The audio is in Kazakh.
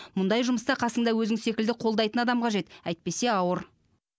мұндай жұмыста қасыңда өзің секілді қолдайтын адам қажет әйтпесе ауыр